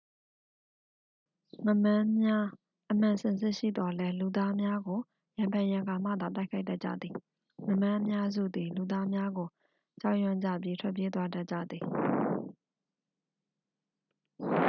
ငါးမန်းများ အမှန်စင်စစ်ရှိသော်လည်း လူသားများကို ရံဖန်ရံခါမှသာ တိုက်ခိုက်တတ်ကြသည် ငါးမန်းအများစုသည် လူသားများကို ကြောက်ရွံ့ကြပြီး ထွက်ပြေးသွားတတ်ကြသည်